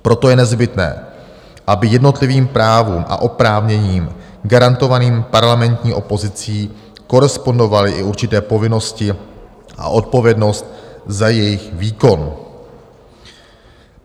Proto je nezbytné, aby jednotlivým právům a oprávněním garantovaným parlamentní opozici korespondovaly i určité povinnosti a odpovědnost za jejich výkon.